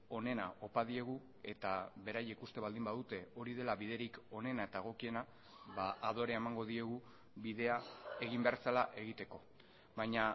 onena opa diegu eta beraiek uste baldin badute hori dela biderik onena eta egokiena adorea emango diegu bidea egin behar zela egiteko baina